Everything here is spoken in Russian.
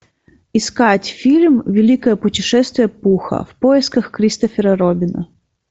искать фильм великое путешествие пуха в поисках кристофера робина